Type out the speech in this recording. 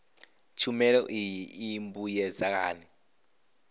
tshumelo iyi i mbuyedza hani